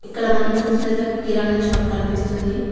ఇక్కడ మనం చూసినటయితే ఒక కిరాణా షాప్ కన్పిస్తుంది.